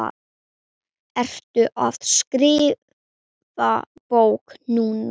Ertu að skrifa bók núna?